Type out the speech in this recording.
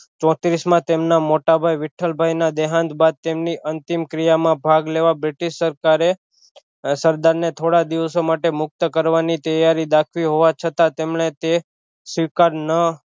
ચોત્રીશ માં તેમના મોટા ભાઈ વિઠલભાઈ ના દેહાંત બાદ તેમની અંતિમ ક્રિયા માં ભાગ લેવા બ્રિટિશ સરકારે સરદાર ને થોડા દિવસો માટે મુક્ત કરવાની ત્યારી દાખવી હોવા છતાં તેમણે તે સ્વીકાર ન